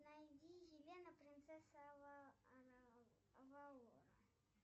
найди елена принцесса авалора